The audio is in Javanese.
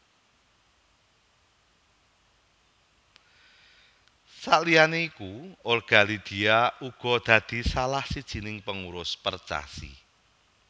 Saliyané iku Olga Lydia uga dadi salah sijiné pengurus Percasi